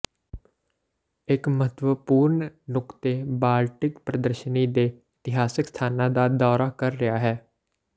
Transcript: ਇੱਕ ਮਹੱਤਵਪੂਰਣ ਨੁਕਤੇ ਬਾਲਟਿਕ ਪ੍ਰਦਰਸ਼ਨੀ ਦੇ ਇਤਿਹਾਸਕ ਸਥਾਨਾਂ ਦਾ ਦੌਰਾ ਕਰ ਰਿਹਾ ਹੈ